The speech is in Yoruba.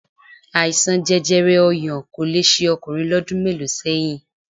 Àìsàn jẹjẹrẹ ọyàn kò le ṣe ọkùnrin lọ́dún mélòó sẹ́yìn